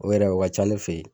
O yɛrɛ o ka ca ne fɛ ye.